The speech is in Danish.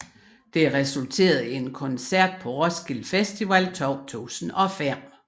Det resulterede i en koncert på den Roskilde Festival 2005